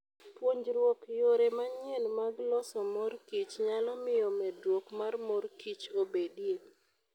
Puonjruok yore manyien mag loso mor kich nyalo miyo medruok mar mor kich obedie.